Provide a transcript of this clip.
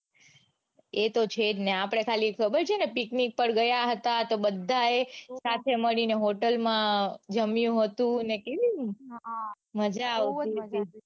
એતો છે જ ને આપડે ખાલી ખબર છે ને picnic પર ગયા હતા તો બધાએ સાથે મળીને hotel માં જામ્યું હતું ને કેવી હા મજા આવતી બઉ જ માજા આવતી